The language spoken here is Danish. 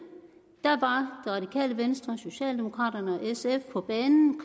var radikale venstre socialdemokraterne og sf på banen